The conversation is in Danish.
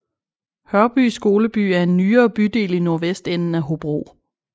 Hørby Skoleby er en nyere bydel i nordvestenden af Hobro